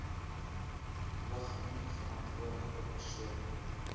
ligging verantwoordelike persoon